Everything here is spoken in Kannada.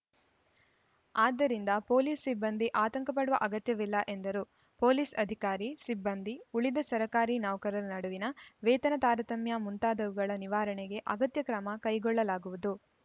ಆದ್ದರಿಂದ ಪೊಲೀಸ್‌ ಸಿಬ್ಬಂದಿ ಆತಂಕಪಡುವ ಅಗತ್ಯವಿಲ್ಲ ಎಂದರು ಪೊಲೀಸ್‌ ಅಧಿಕಾರಿ ಸಿಬ್ಬಂದಿ ಉಳಿದ ಸರ್ಕಾರಿ ನೌಕರರ ನಡುವಿನ ವೇತನ ತಾರತಮ್ಯ ಮುಂತಾದವುಗಳ ನಿವಾರಣೆಗೆ ಅಗತ್ಯ ಕ್ರಮ ಕೈಗೊಳ್ಳಲಾಗುವುದು